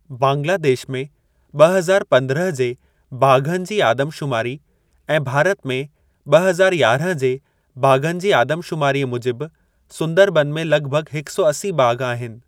बांग्लादेश में ब॒ हज़ार पंद्रहं जे बाघनि जी आदम शुमारी ऐं भारत में ब॒ हज़ार यारहं जे बाघनि जी आदम शुमारीअ मूजिब, सुंदरबन में लॻभॻ हिक सौ असी बाघ आहिनि।